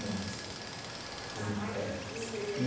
Uma aqui. A tarrafa não teria